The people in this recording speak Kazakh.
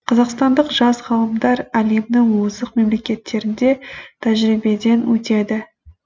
қазақстандық жас ғалымдар әлемнің озық мемлекеттерінде тәжірибеден өтеді